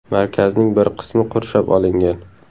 Markazning bir qismi qurshab olingan.